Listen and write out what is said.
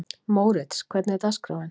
Mórits, hvernig er dagskráin?